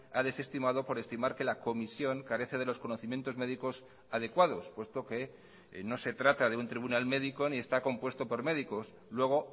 ha desestimado por estimar que la comisión carece de los conocimientos médicos adecuados puesto que no se trata de un tribunal médico ni está compuesto por médicos luego